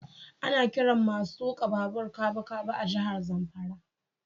Ana kiran masun tuka babu kabukabu a jihar Zamfara.